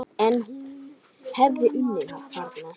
En hún hefði unnið þarna.